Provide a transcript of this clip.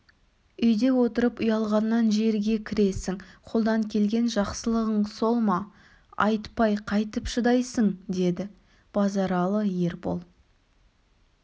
үйде отырып ұялғаннан жерге кіресің қолдан келген жақсылығың сол ма айтпай қайтіп шыдайсың деді базаралы ербол